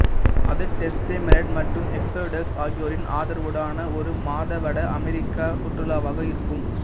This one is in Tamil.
அது டெஸ்டமெண்ட் மற்றும் எக்ஸோடஸ் ஆகியோரின் ஆதரவுடனான ஒரு மாத வட அமெரிக்க சுற்றுலாவாக இருக்கும்